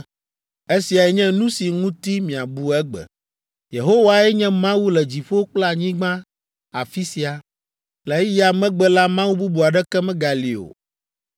Esiae nye nu si ŋuti miabu egbe: Yehowae nye Mawu le dziƒo kple anyigba afi sia; le eya megbe la, Mawu bubu aɖeke megali o!